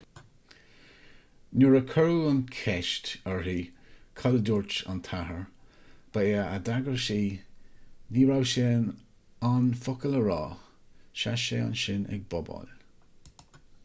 nuair a cuireadh an cheist uirthi cad a dúirt an t-athair ba é a d'fhreagair sí ní raibh sé in ann focal a rá sheas sé ansin ag bobáil